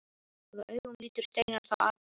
Hvaða augum lítur Steinar þá atburði?